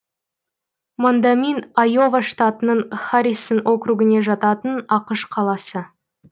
мондамин айова штатының харрисон округіне жататын ақш қаласы